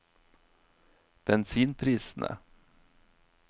bensinprisene